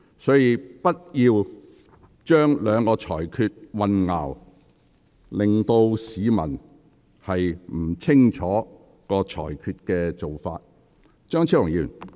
所以，不要將兩項裁決混淆，令市民不清楚裁決的理據。